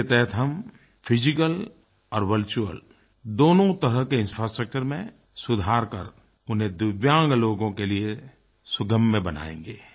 इसके तहत हम फिजिकल और वर्चुअल दोनों तरह के इंफ्रास्ट्रक्चर में सुधार कर उन्हें दिव्यांग लोगों के लिए सुगम्य बनायेंगे